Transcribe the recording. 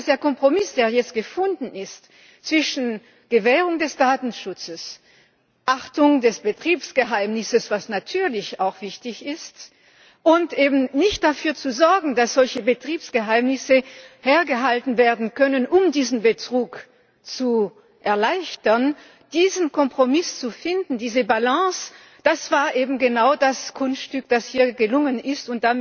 Der Kompromiss, der jetzt gefunden wurde, zwischen Gewährung des Datenschutzes und Achtung des Betriebsgeheimnisses was natürlich auch wichtig ist, und dafür zu sorgen, dass solche Betriebsgeheimnisse nicht hergenommen werden können, um diesen Betrug zu erleichtern diesen Kompromiss zu finden, diese Balance, das war eben genau das Kunststück, das hier gelungen ist.